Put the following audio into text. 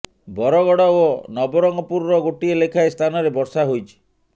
ବରଗଡ଼ ଓ ନବରଙ୍ଗପୁରର ଗୋଟିଏ ଲେଖାଏ ସ୍ଥାନରେ ବର୍ଷା ହୋଇଛି